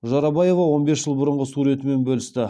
жорабаева он бес жыл бұрынғы суретімен бөлісті